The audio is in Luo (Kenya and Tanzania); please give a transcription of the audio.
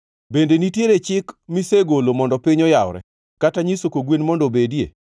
“Bende nitiere chik misegolo mondo piny oyawre, kata nyiso kogwen mondo obedie?